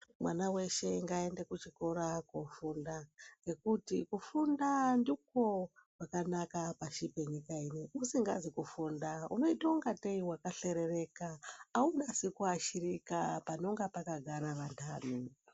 Mwana weshe ngaaende kuchikora kofunda ngekuti kufunda ndiko kwakanaka pashi penyika inei, usikazi kufunda unoita ngatei wakahlerereka aunasi kuashirika panonga pakagara vantani.